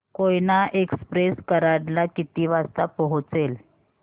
Koyna express Karad ला किती वाजता पोहचेल